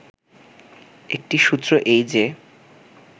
একটি সূত্র এই যে